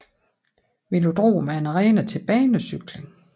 Velodrom er en arena til banecykling